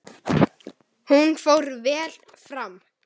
Hún fór vel fram.